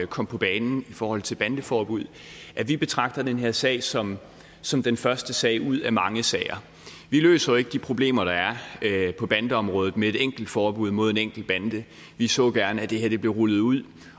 kom på banen i forhold til bandeforbuddet at vi betragter den her sag som som den første sag ud af mange sager vi løser jo ikke de problemer der er på bandeområdet med et enkelt forbud mod en enkelt bande vi så gerne at det her blev rullet ud